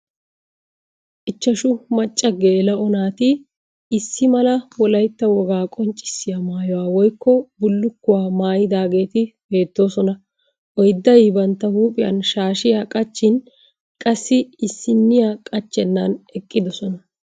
Ichchashu macca geela'o naati issi mala wolayitta wogaa qonccissiya mayuwa woyikko bullukkuwa mayidaageeta beettoosona. Oyidday bantta huuphiyan shaashiya qachchin qassi issinniya qachchennan eqqidosona.